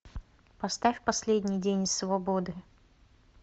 поставь последний день свободы